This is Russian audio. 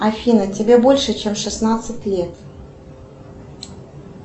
афина тебе больше чем шестнадцать лет